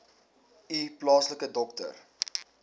u plaaslike dokter